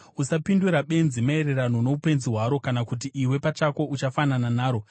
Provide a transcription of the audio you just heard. Usapindura benzi maererano noupenzi hwaro, kana kuti iwe pachako uchafanana naro.